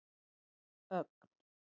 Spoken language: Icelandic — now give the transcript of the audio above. Ögn